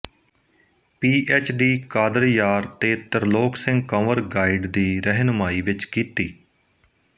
ਪੀ H D Qadar Yar ਤੇ Tirlok Singh Kanwar guide ਦੀ ਰਹਿਨੁਮਾਈ ਵਿੱਚ ਕੀਤੀ